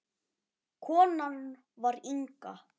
Konan var Inga.